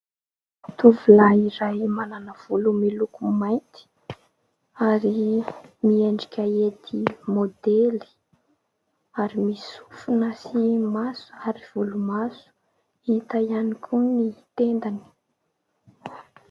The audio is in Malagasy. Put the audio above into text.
Tovolahy iray manana volo miloko mainty ary miendrika hety maodely ary misy sofina sy maso ary volomaso, hita ihany koa ny tendany.